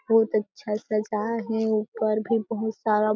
बहुत अच्छा सजा हे ऊपर भी बहुत सारा--